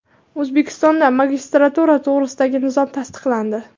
O‘zbekistonda magistratura to‘g‘risidagi nizom tasdiqlandi.